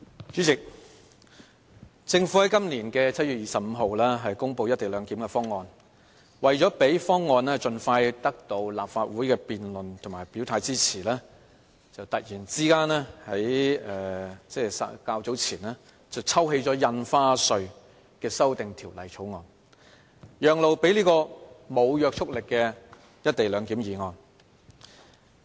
主席，政府在今年7月25日公布"一地兩檢"的方案，為了讓方案盡快得到立法會的辯論及表態支持，較早前突然抽起《2017年印花稅條例草案》，讓路予無約束力的"一地兩檢"議案。